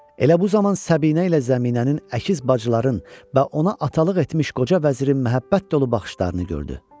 Elə bu zaman Səbinə ilə Zəminənin əkiz bacılarının və ona atalıq etmiş qoca vəzirin məhəbbət dolu baxışlarını gördü.